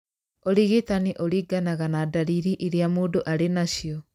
Ũrigitani ũringanaga na ndariri irĩa mũndũ ari nacio.